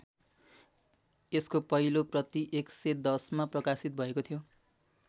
यसको पहिलो प्रति २०१० मा प्रकाशित भएको थियो।